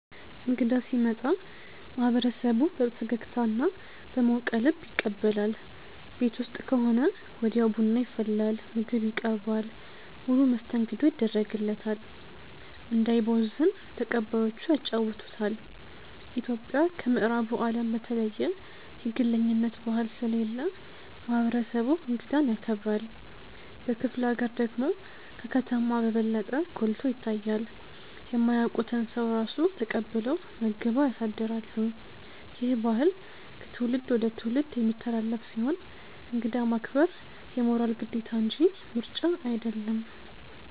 እንግዳ ሲመጣ ማህበረሰቡ በፈገግታና በሞቀ ልብ ይቀበላል። ቤት ውስጥ ከሆነ ወዲያው ቡና ይፈላል፣ ምግብ ይቀርባል፣ ሙሉ መስተንግዶ ይደረግለታል። እንዳይቦዝን ተቀባዮቹ ያጫውቱታል። ኢትዮጵያ ከምዕራቡ አለም በተለየ የግለኝነት ባህል ስለሌለ ማህበረሰቡ እንግዳን ያከብራል። በክፍለ ሀገር ደግሞ ከከተማ በበለጠ ጎልቶ ይታያል። የማያውቁትን ሰው ራሱ ተቀብለው መግበው ያሳድራሉ። ይህ ባህል ከትውልድ ወደ ትውልድ የሚተላለፍ ሲሆን እንግዳ ማክበር የሞራል ግዴታ እንጂ ምርጫ አይደለም።